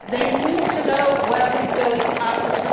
They need to know where we are going